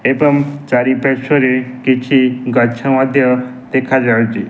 ଏବଂ ଚାରିପାର୍ଶ୍ୱରେ କିଛି ଗଛ ମଧ୍ୟ ଦେଖା ଯାଉଚି ।